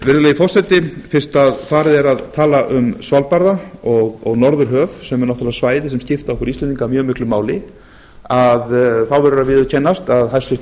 virðulegi forseti fyrst farið er að tala um svalbarða og norðurhöf sem er náttúrlega svæði sem skipta okkur íslendinga mjög miklu máli þá verður að viðurkennast að hæstvirtur